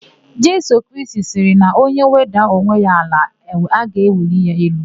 Jisọs Kraịst sịrị na onye wedaa onwe ya n'ala; a ga-eweli ya elu.